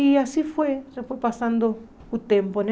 E assim foi, já foi passando o tempo, né?